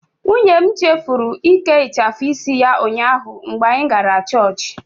Nwunye m chefuru ike ịchafu isi ya ụnyaahụ mgbe anyị gara Church.